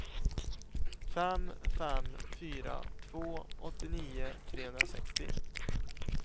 fem fem fyra två åttionio trehundrasextio